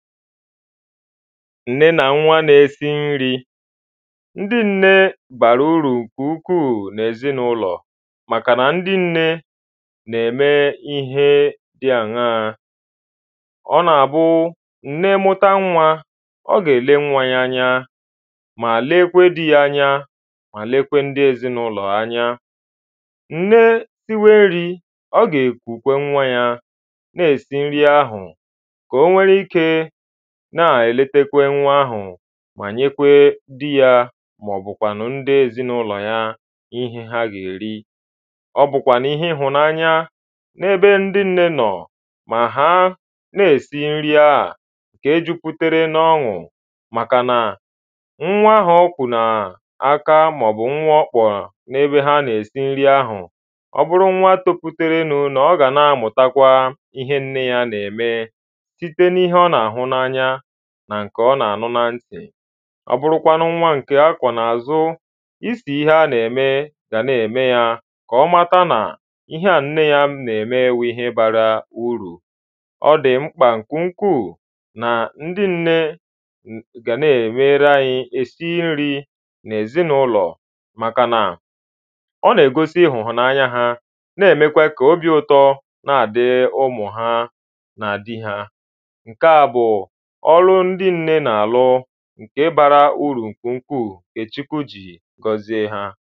ǹne nà nwa na-esi nri ndị ǹne bàrà ùrù ǹkè ukwuu n’èzinaụlọ màkànà ndị ǹne nà-ème ihe dị aṅaa ọ nà-àbụ ǹne mụ̀ta nwa ọ̀ ga-ele nwa ya anya mà lekwèè di ya anya mà lekwèè ǹdị ezinaụ̀lọ̀ ha anya ǹne siwe nri ọ̀ gà-èkùkwà nwa ya na-esi nri ahụ ka o nwere ikē nà-èlètèkwè nwa ahụ mà nyèkwè di ya màọ̀bụ̀kwà nụ̀ ndị ezinàụ̀lọ̀ ha ihe ha gà-èri ọ̀ bụ̀kwà n’ihē ịhụnanya n’ebē ndị nne nọ̀ mà ha nā-ēsi nri ahụ̀ ǹke juputere na ọnụ̄ màkànà nwa ahụ ọ̀kwụ̀ n’aka màọ̀bụ̀ nke ọkpọ̀ n’ebe ha nà-èsi nri ahụ̀ ọ bụrụ nwa toputerenu n’ọ̀ gà na-amụ̀takwa ihe nne ya nà-ème site n’ihe ọ nà-àhụ n’anya nà ǹkè ọ̀ nà-ànụ na ntị ọ̀ bụrụkwanụ nwa nke ākwọ̀ n’àzụ isì ihe a na-eme gà n’eme ya ka ọ mata nà ihe ā nne ya n’eme bụ̀ ihe bara urù ọ dị̀ mkpà nke ukwūū nà ndị nne gà-èsi nri n’èzinàụ̀lọ̀ màkànà ọ na-egosi ihụnanya ha n’emèkwe kà òbi ụtọ̀ nàdị̀rị̀ ụmụ̀ ha nà di hà ǹkea bụ̀ ọ̀lụ ndị ǹne na-alụ̀ ǹke bara urù ǹkè ukwuu ǹkè Chukwu jìrì gọzie hā